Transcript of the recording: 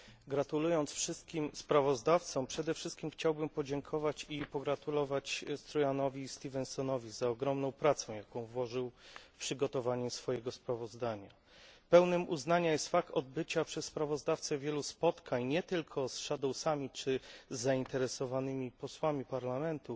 Gratulując wszystkim sprawozdawcom, przede wszystkim chciałbym podziękować i pogratulować Struanowi Stevensonowi za ogromną pracę, jaką włożył w przygotowanie swojego sprawozdania. Godnym uznania jest fakt odbycia przez sprawozdawcę wielu spotkań, nie tylko z kontrsprawozdawcami czy z zainteresowanymi posłami do Parlamentu,